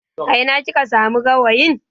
A ina kika samu gawayin?